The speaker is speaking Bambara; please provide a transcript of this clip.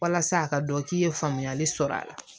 Walasa a ka dɔn k'i ye faamuyali sɔrɔ a la